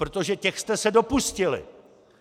Protože těch jste se dopustili!